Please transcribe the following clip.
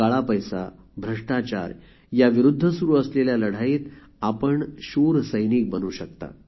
काळा पैसा भ्रष्टाचार याविरुद्ध सुरु असलेल्या लढाईत आपण शूर सैनिक बनू शकता